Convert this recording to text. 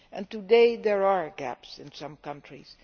Today there are gaps in some countries.